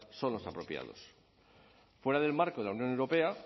son los apropiados fuera del marco de la unión europea